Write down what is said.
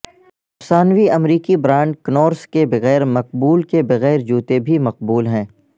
افسانوی امریکی brand Converse کے بغیر مقبول کے بغیر جوتے بھی مقبول ہیں